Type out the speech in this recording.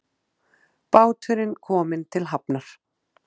Báturinn kominn til hafnar